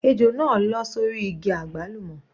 Ejò náà lọ́ sórí igi àgbálùmọ́.